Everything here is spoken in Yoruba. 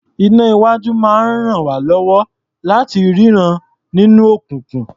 Iná-iwájú máa ń ràn wá lọ́wọ́ láti rínran nínú òkùnkùn.